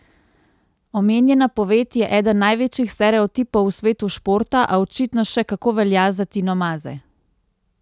Omenjena poved je eden največjih stereotipov v svetu športa, a očitno še kako velja za Tino Maze.